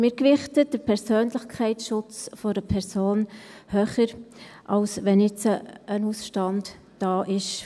Wir gewichten den Persönlichkeitsschutz einer Person höher, als wenn bei einem Notar ein Ausstand da ist.